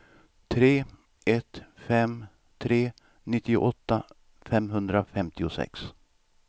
tre ett fem tre nittioåtta femhundrafemtiosex